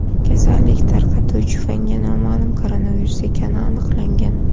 Kasallik tarqatuvchi fanga noma’lum koronavirus ekani aniqlangan.